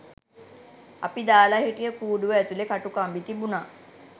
අපි දාල හිටිය කූඩුව ඇතුලේ කටුකම්බි තිබුණා.